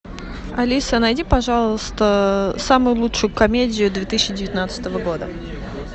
алиса найди пожалуйста самую лучшую комедию две тысячи девятнадцатого года